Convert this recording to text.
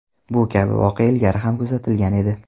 Bu kabi voqea ilgari ham kuzatilgan edi.